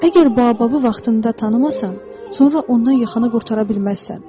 Əgər Baobabı vaxtında tanımasan, sonra ondan yaxanı qurtara bilməzsən.